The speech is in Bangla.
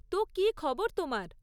তো, কী খবর তোমার?